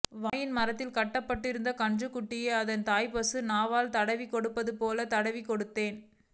வயின் மரத்தில் கட்டப்பட்டிருக்கும் கன்றுக்குட்டியை அதன் தாய்ப்பசு நாவால் தடவிக்கொடுப்பது போல் தடவிக் கொடுத்தேன்